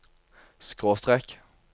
skråstrek